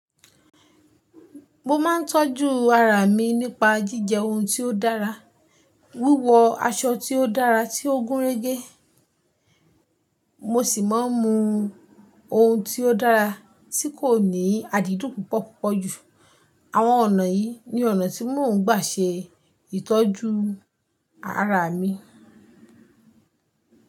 Mo máa ń tọ́jú ara mi nípa jíjẹ oun tí ó dára, wíwọ aṣọ tí ó dára tí ó gúnrégé, mo sì máa ń mu oun tí ó dára tí kò ní adidun púpọ̀ púpọ̀ jù. Àwọn ọ̀nà yìí ni ọ̀nà tí mò ń gbà ṣe ìtọ́jú ara mi.